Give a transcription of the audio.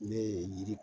Ne ye yiri